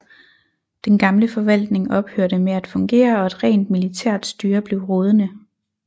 Den gamle forvaltning ophørte med at fungere og et rent militært styre blev rådende